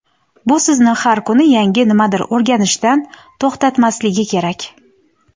bu sizni har kuni yangi nimadir o‘rganishdan to‘xtatmasligi kerak.